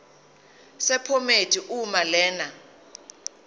sephomedi uma lena